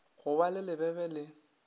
go ba le lebebe le